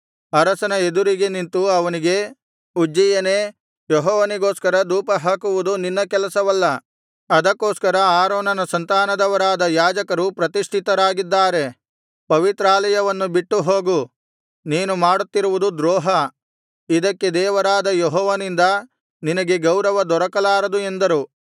ಅರಸನ ಎದುರಿಗೆ ನಿಂತು ಅವನಿಗೆ ಉಜ್ಜೀಯನೇ ಯೆಹೋವನಿಗೋಸ್ಕರ ಧೂಪ ಹಾಕುವುದು ನಿನ್ನ ಕೆಲಸವಲ್ಲ ಅದಕ್ಕೋಸ್ಕರ ಆರೋನನ ಸಂತಾನದವರಾದ ಯಾಜಕರು ಪ್ರತಿಷ್ಠಿತರಾಗಿದ್ದಾರೆ ಪವಿತ್ರಾಲಯವನ್ನು ಬಿಟ್ಟುಹೋಗು ನೀನು ಮಾಡುತ್ತಿರುವುದು ದ್ರೋಹ ಇದಕ್ಕೆ ದೇವರಾದ ಯೆಹೋವನಿಂದ ನಿನಗೆ ಗೌರವ ದೊರಕಲಾರದು ಎಂದರು